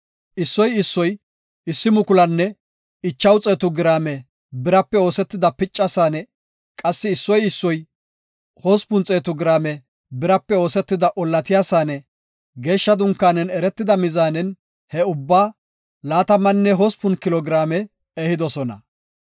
Issoy issoy 1,500 giraame birape oosetida picca Saane; qassi issoy issoy 800 giraame birape oosetida ollatiya saane, geeshsha dunkaanen eretida mizaanen he ubbaa 28 kilo giraame ehidosona.